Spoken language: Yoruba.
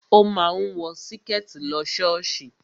O máa ń wọ Síkẹ̀tí lọ ṣọ́ọ̀ṣì